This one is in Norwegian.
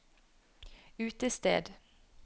utested